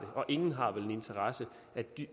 og ingen har vel en interesse